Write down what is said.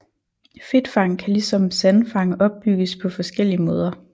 Fedtfang kan ligesom sandfang opbygges på forskellige måder